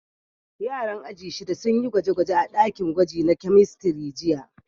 Yaran aji shida sun yi gwaje-gwaje a dakin gwaji na kemistri jiya.